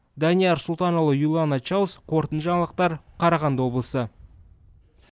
данияр сұлтанұлы юлана чаус қорытынды жаңалықтар қарағанды облысы